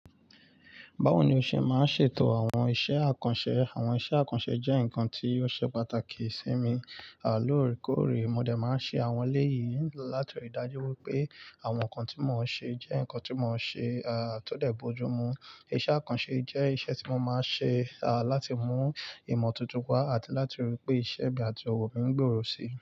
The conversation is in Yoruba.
Báwo ni o ṣe máa ń ṣètò àwọn iṣẹ́ àkànṣe? Àwọn iṣẹ́ àkànṣe jẹ́ nǹkan tí ó ṣe pàtàkì sí mi. A loòrèkóòrè mo dẹ̀ máa ń ṣe àwọn eléyìí láti rí i dájú wípé àwọn nǹkan tí mo ń ṣe jẹ́ nǹkan tí mo ń ṣe, a, tó dẹ̀ bo ojú mu. Iṣẹ́ àkànṣe jẹ́ iṣẹ́ tí mo máa ń ṣe, a, láti mú ìmọ̀ tuntun wá àti láti rí i pé ìṣe mi àti ọwọ́ mi ń gbòòrò si.